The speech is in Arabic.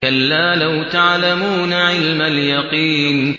كَلَّا لَوْ تَعْلَمُونَ عِلْمَ الْيَقِينِ